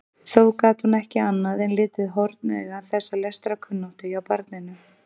Þó gat hún ekki annað en litið hornauga þessa lestrarkunnáttu hjá barninu.